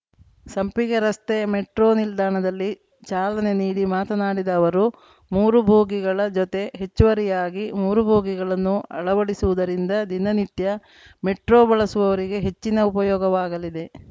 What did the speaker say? ಸಂಪಿಗೆ ರಸ್ತೆ ಮೆಟ್ರೋ ನಿಲ್ದಾಣದಲ್ಲಿ ಚಾಲನೆ ನೀಡಿ ಮಾತನಾಡಿದ ಅವರು ಮೂರು ಬೋಗಿಗಳ ಜೊತೆ ಹೆಚ್ಚುವರಿಯಾಗಿ ಮೂರು ಬೋಗಿಗಳನ್ನು ಅಳವಡಿಸುವುದರಿಂದ ದಿನನಿತ್ಯ ಮೆಟ್ರೋ ಬಳಸುವವರಿಗೆ ಹೆಚ್ಚಿನ ಉಪಯೋಗವಾಗಲಿದೆ